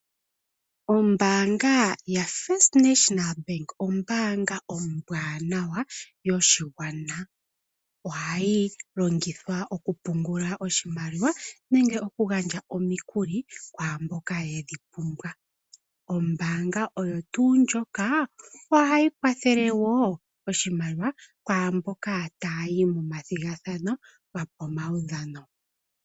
Ombaanga yotango yopashigwana ombaanga ombwanawa yoshigwana .Ohayi longithwa okupungula oshimaliwa nenge oku gandja omikuli kwaamboka yedhi pumbwa .Ohayi kwathele oshimaliwa kwaamboka ta yayi momathigathano gopamaudhano.